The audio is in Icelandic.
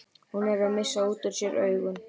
Hún er að missa út úr sér augun.